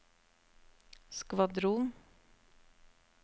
skvadron